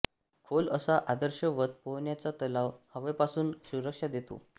खोल असा आदर्शवत पोहण्याचा तलाव हवेपासून सुरक्षा देतो